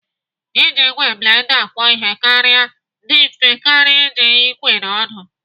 Iji ìgwè blenda akwọ ihe kara dị mfe karịa iji ikwe na ọdụ.